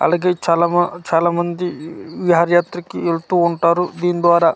అలాగే చాలా మ చాలా మంది విహారయాత్రకు వెళ్తూ ఉంటారు దీని ద్వారా--